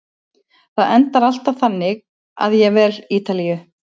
Það endar alltaf þannig að ég vel Ítalíu.